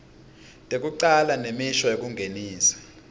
tekucala nemisho yekungenisa